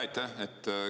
Aitäh!